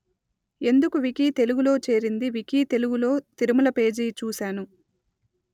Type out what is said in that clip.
ఎందుకు వికీ తెలుగు లో చేరింది వికీ తెలుగు లో తిరుమల పేజి చూసాను